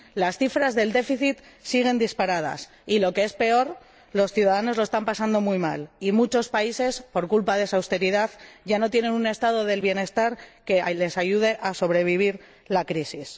las cifras del déficit siguen disparadas y, lo que es peor, los ciudadanos lo están pasando muy mal, y muchos países, por culpa de esa austeridad, ya no tienen un Estado del bienestar que les ayude a sobrevivir la crisis.